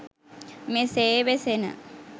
මෙසේ වෙසෙන